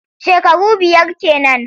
Shekaru biyar ke nan.